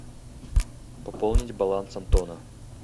пополнить баланс антона